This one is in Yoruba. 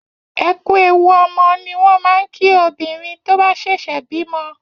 Ẹ kú ewu ọmọ ni wọ́n máa ń kí obìnrin tó bá ṣẹ̀ṣẹ̀ bímọ.